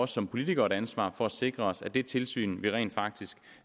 som politikere et ansvar for at sikre os at det tilsyn vi rent faktisk